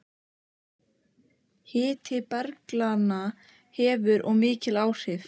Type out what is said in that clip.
Hiti berglaganna hefur og mikil áhrif.